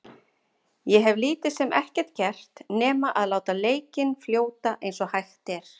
Ég hef lítið sem ekkert gert nema að láta leikinn fljóta eins og hægt er.